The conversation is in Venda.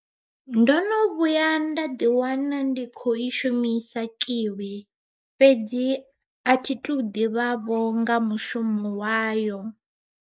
Ndo no vhuya nda ḓi wana ndi kho i shumisa kiwi, fhedzi a thi tou ḓivhavho nga mushumo wayo.